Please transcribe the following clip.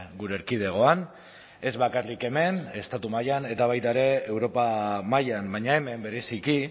gure erkidegoan ez bakarrik hemen estatu mailan eta baita ere europa mailan baina hemen bereziki